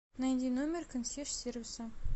найди номер консьерж сервиса